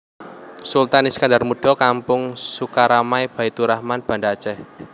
Sultan Iskandar Muda Kampung Sukaramai Baitturahman Banda Aceh